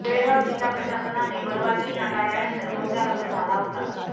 बेळगाव जिल्हा प्रशासनाने परवानगी नाकारल्यानंतर मोर्चा रद्द झाला होता